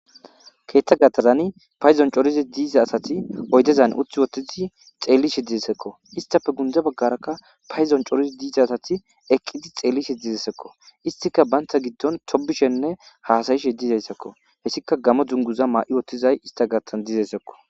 Keththa gaththazanni paydonni coridi diza asati oyidezan utti oththidi xeelishshe dizayissazakko.isttappe gunde bagarakka payiddon corid diza asati eqqidd xeelishshe dizayisazakko.issitkka banita giddonni tobishshenne hasayishshe dizayisazakko hessikka Gamo duniguza ma'i uttidayi issita gidonn dizayisazakko.